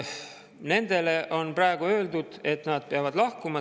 Neile on praegu öeldud, et nad peavad lahkuma.